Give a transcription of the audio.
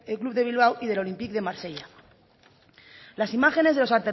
club de bilbao y del olympique de marsella las imágenes de los